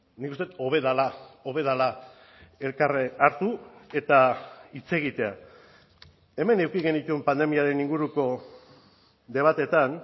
nik uste dut hobe dela hobe dela elkar hartu eta hitz egitea hemen eduki genituen pandemiaren inguruko debateetan